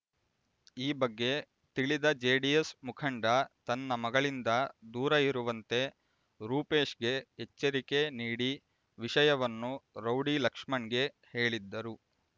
ಈ ಬಗ್ಗೆ ತಿಳಿದ ಜೆಡಿಎಸ್ ಮುಖಂಡೆ ತನ್ನ ಮಗಳಿಂದ ದೂರ ಇರುವಂತೆ ರೂಪೇಶ್‌ಗೆ ಎಚ್ಚರಿಕೆ ನೀಡಿ ವಿಷಯವನ್ನು ರೌಡಿ ಲಕ್ಷ್ಮಣ್‌ಗೆ ಹೇಳಿದ್ದರು